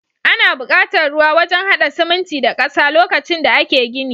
Ana bukatar ruwa wajan hada siminti da ƙasa lokacin da ake gini.